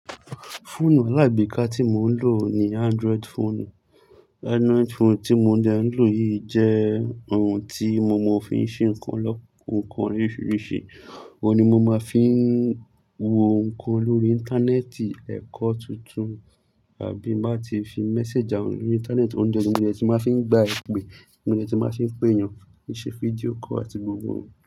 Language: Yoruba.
Fóònù line mí kan tí mo ń lọ na ni android fóònù, android fóònù tí mo dẹ̀ ń lọ yìí jẹ ohun tí mo mọ̀ ó fi ń ṣe nnkan lọ́-- nnkan oríṣiríṣi. Ó ni mo máa fi ń wo nnkan lórí Íńtánẹ́ẹ̀tì, ẹ̀kọ́ tuntun àbí máa ti fi méséjì àwọn lórí Íńtánẹ́ẹ̀tì, óun ni ẹni tí máa fi ń gba ìpè, mo dẹ̀ tún máa fi ń pé èyàn, fi ṣe fídíò call àti gbogbo òun.